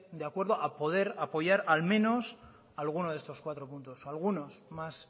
de acuerdo a poder apoyar al menos alguno de estos cuatro puntos algunos más